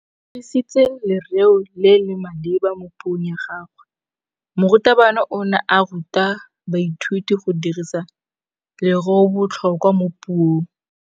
O dirisitse lerêo le le maleba mo puông ya gagwe. Morutabana o ne a ruta baithuti go dirisa lêrêôbotlhôkwa mo puong.